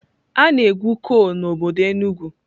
A na-egwu kol n'obodo Enugwu.